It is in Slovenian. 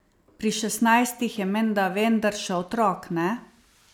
Pri šestnajstih je menda vendar še otrok, ne?